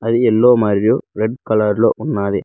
Yellow మరియు red colour లో ఉన్నది.